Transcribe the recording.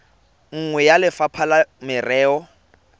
nngwe ya lefapha la merero